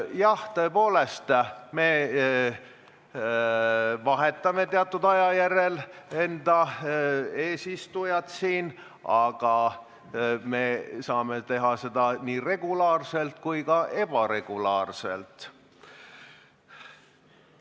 Jah, tõepoolest, me vahetame teatud aja järel eesistujat, aga me saame seda teha nii regulaarselt kui ka ebaregulaarselt.